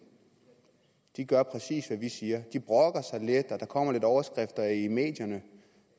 gør præcis hvad vi siger de brokker sig lidt der kommer lidt overskrifter i medierne